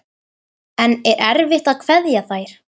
En er erfitt að kveðja þær?